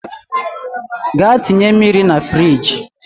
Gaa tinye mmiri na firigi